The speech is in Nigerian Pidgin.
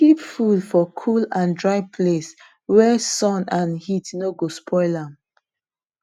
keep feed for cool and dry place wey sun and heat no go spoil am